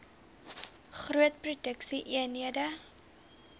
groot produksie eenhede